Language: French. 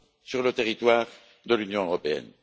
sur le territoire de l'Union européenne.